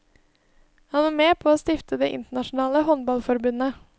Han var med på å stifte det internasjonale håndballforbundet.